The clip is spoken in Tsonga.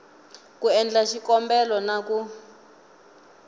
ku endla xikombelo na ku